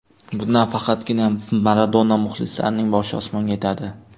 Bundan faqatgina Maradona muxlislarining boshi osmonga yetadi.